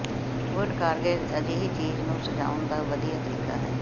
ਵੁੱਡਕਾਰਗੇਜ ਅਜਿਹੀ ਚੀਜ਼ ਨੂੰ ਸਜਾਉਣ ਦਾ ਵਧੀਆ ਤਰੀਕਾ ਹੈ